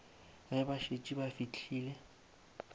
ge ba šetše ba fihlile